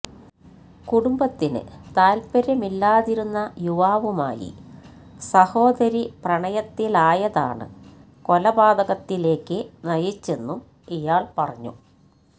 കുടുംബത്തിന് താൽപ്പര്യമില്ലാതിരുന്ന യുവാവുമായി സഹോദരി പ്രണയത്തിലായതാണ് കൊലപാതകത്തിലേക്ക് നയിച്ചെന്നും ഇയാൾ പറഞ്ഞു